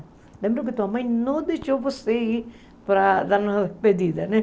Lembra que tua mãe não deixou você ir para dar uma despedida, né?